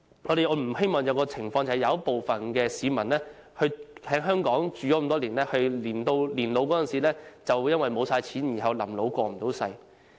我們不希望有一種情況，就是有部分長時間在港生活的市民，在年老時因花光積蓄而"臨老過唔到世"。